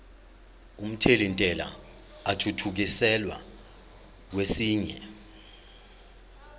omthelintela athuthukiselwa kwesinye